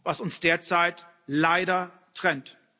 was uns derzeit leider trennt.